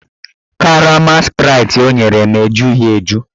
Karama spraịtị ọ nyere m ejughi eju